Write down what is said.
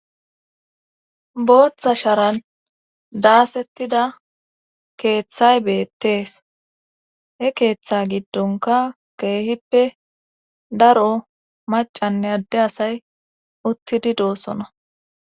booththa sharan daasettida keeththay beettees he keeththa giddonka keehippe daro macanne adde asay uttidi doosona